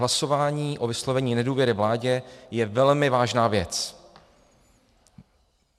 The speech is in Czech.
Hlasování o vyslovení nedůvěry vládě je velmi vážná věc.